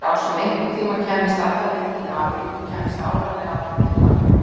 Sá sem einhverntíma kæmist alla leið til Ameríku kæmi áreiðanlega aldrei til baka.